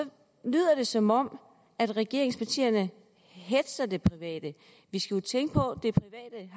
lyder det som om regeringspartierne hetzer det private vi skal jo tænke på